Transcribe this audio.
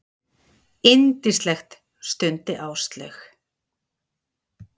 Yndislegt stundi Áslaug.